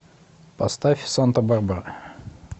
поставь санта барбара